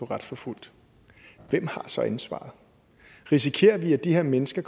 retsforfulgt hvem har så ansvaret risikerer vi at de her mennesker